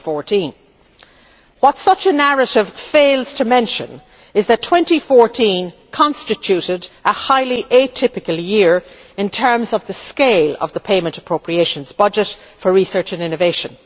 2014. What such a narrative fails to mention is that 2014 constituted a highly atypical year in terms of the scale of the payment appropriations budget for research and innovation.